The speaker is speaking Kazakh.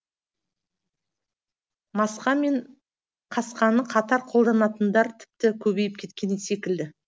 маска мен касканы қатар қолданатындар тіпті көбейіп кеткен секілді